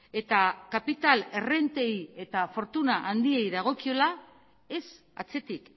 eta kapital errentei eta fortuna handiei dagokiola ez atzetik